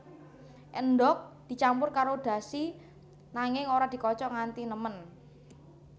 Endhog dicampur karo dashi nanging ora dikocok nganti nemen